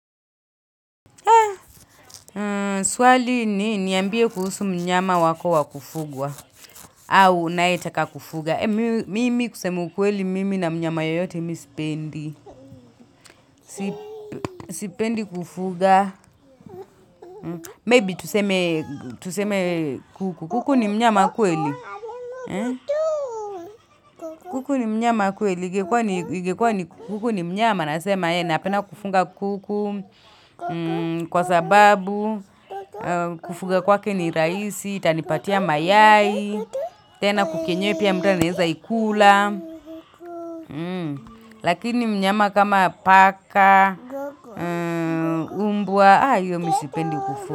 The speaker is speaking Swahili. Swali ni niambie kuhusu mnyama wako wa kufugwa au unayetaka kufuga. Mimi kusema kweli, mimi na mnyama yoyote mi sipendi. Sipendi kufuga. Maybe tuseme kuku. Kuku ni mnyama kweli. Kuku ni mnyama kweli. Ingekua ni kuku ni mnyama. Nasema, napenda kufuga kuku. Kwa sababu, kufuga kwake ni rahisi. Itanipatia mayai tena kuku enyewe pia mtu anaeza ikula Lakini mnyama kama paka umbwa hiyo mimi sipendi kufuga.